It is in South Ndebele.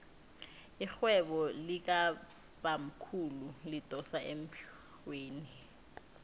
irhwebo likabamkhulu lidosa emhlweni